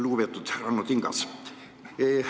Lugupeetud Ranno Tingas!